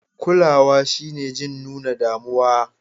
Kulawa shine jin nuna damuwa.